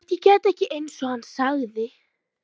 Hélt ég gæti þetta ekki, einsog hann sagði.